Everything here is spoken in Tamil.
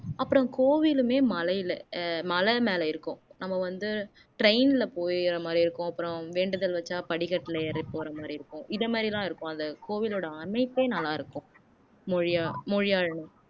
அப்புறம் கோவிலுமே மலையில அஹ் மலை மேல இருக்கும் நம்ம வந்து train ல போகிற மாதிரி இருக்கும் அப்புறம் வேண்டுதல் வச்சா படிக்கட்டுல ஏறி போற மாதிரி இருக்கும் இதை மாதிரி எல்லாம் இருக்கும் அந்த கோவிலோட அமைப்பே நல்லா இருக்கும் மொழியா மொழியாழினி